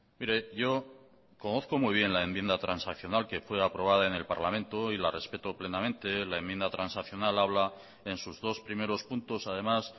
mire yo conozco muy bien la enmienda transaccional que fue aprobada en el parlamento y la respeto plenamente la enmienda transaccional habla en sus dos primeros puntos además